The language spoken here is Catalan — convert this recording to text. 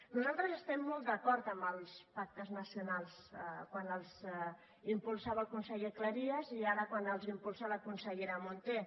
nosaltres estem molt d’acord amb els pactes nacionals quan els impulsava el conseller cleries i ara quan els impulsa la consellera munté